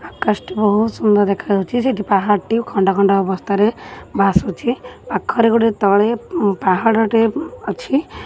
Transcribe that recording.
ଆକାଶଟି ବହୁତ ସୁନ୍ଦର୍ ଦେଖା ଯାଉଛି ସେଠି ପାହାଡ଼ଟି ଖଣ୍ଡ ଖଣ୍ଡ ଅବସ୍ଥାରେ ଭାସୁଛି ପାଖରେ ଗୋଟେ ତଳେ ପାହାଡ଼ଟେ ଅଛି।